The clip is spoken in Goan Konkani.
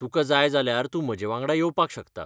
तुका जाय जाल्यार तूं म्हजेवांगडा येवपाक शकता.